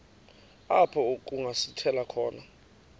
apho kungasithela khona